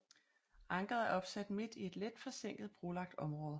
Ankeret er opsat midt i et let forsænket brolagt område